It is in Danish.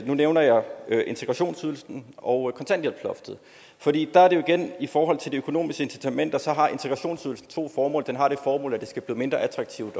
nævner jeg integrationsydelsen og kontanthjælpsloftet i forhold til de økonomiske incitamenter har integrationsydelsen to formål den har det formål at det skal blive mindre attraktivt